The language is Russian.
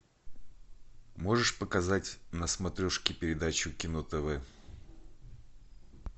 можешь показать на смотрешке передачу кино тв